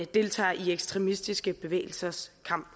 deltager i ekstremistiske bevægelsers kamp